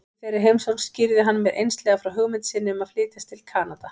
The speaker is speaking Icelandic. Í þeirri heimsókn skýrði hann mér einslega frá hugmynd sinni um að flytjast til Kanada.